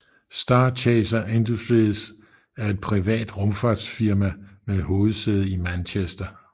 Starchaser Industries er et privat rumfartsfirma med hovedsæde i Manchester